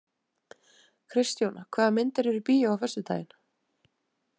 Kristjóna, hvaða myndir eru í bíó á föstudaginn?